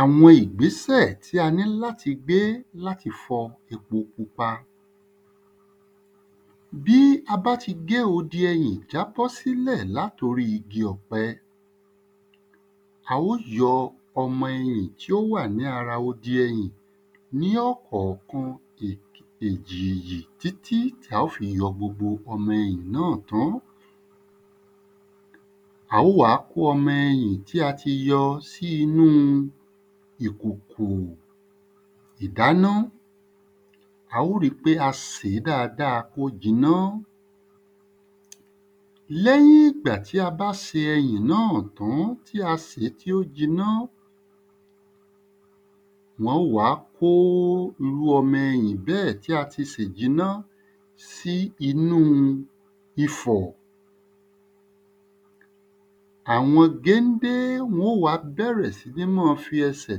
Àwọn ìgbésẹ̀ tí a ní láti gbé láti fọ epo pupa bí a bá ti gé odi ẹyìn já bọ sílẹ̀ látorí igi ọ̀pẹ a ó yọ ọmọ ẹyìn tí ó wà lára o di ẹyìn ní ọ̀kọ̀kan èjìjì tí tí ta ó fi yọ gbogbo ọmọ ẹyìn náà á ó wá kó ọmọ ẹyìn tí a ti yọ sí inú ìkòkò ìdáná a ó ri pé a sèé kó jiná lẹ́yìn ìgbà tí a bá se ẹyìn náà tán tí a sèé tí ó jiná wọ́n ó wàá kó irú ọmọ ẹyìn bẹ́ẹ̀ tí a ti sè jiná sí inúu ifọ̀ àwọn géndé wọ́n ó wàá bẹ̀rẹ̀ sí ní fi ẹsẹ̀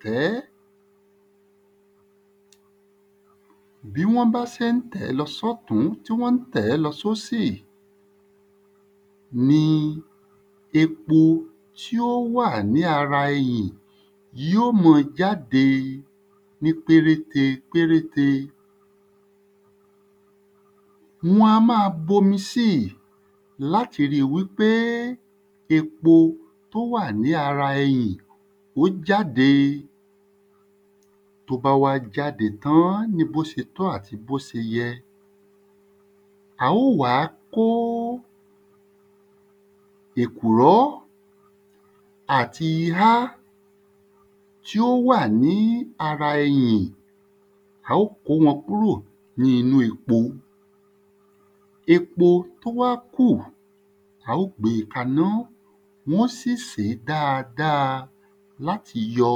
tẹ̀ẹ́ bí wọ́n bá sé ń tẹ̀ẹ́ lọ sọ́tún tí wọ́n tẹ̀ẹ́ lọ sósì ní epo tí ó wà ní ara eyìn yí ó mọ jáde ní péréte péréte wọn a má a omi síì láti ri wí pé epo tó wà ní ara ẹyìn ó jáde tó bá wá jáde tán ni bó se tó àti bó se yẹ a ó wá kó èkùró àti ihá tí ó wà ní ara ẹyìn a ó wá kó wọn kúrò ní inú epo epo tó wá kù a ó gbe kaná wọ́n sì sèé dáadáa láti yọ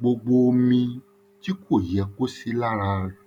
gbogbo omi tí kò yẹ kó sí lára rẹ̀